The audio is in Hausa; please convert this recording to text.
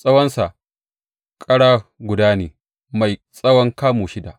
Tsawonsa kara guda ne mai tsawon kamu shida.